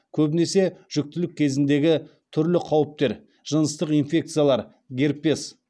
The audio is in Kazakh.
көбінесе жүктілік кезіндегі түрлі қауіптер жыныстық инфекциялар герпес